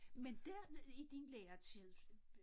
Men der i din læretid